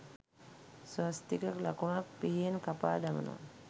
ස්වස්තික ලකුණක් පිහියෙන් කපා දමනවා